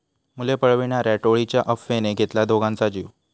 मुले पळविणाऱ्या टोळीच्या अफवेने घेतला दोघांचा जीव